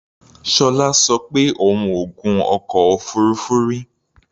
Ṣọlá sọ pé òun ò gun ọkọ̀ òfuurufú rí.